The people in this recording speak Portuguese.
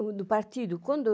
O do partido, quando eu